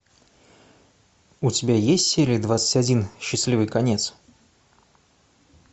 у тебя есть серия двадцать один счастливый конец